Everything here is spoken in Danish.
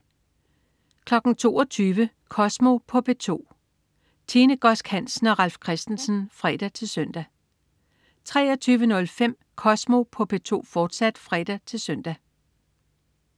22.00 Kosmo på P2. Tine Godsk Hansen og Ralf Christensen (fre-søn) 23.05 Kosmo på P2, fortsat (fre-søn)